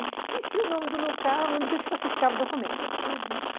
Esqueci o nome do local onde eles classificavam o documento, uhum.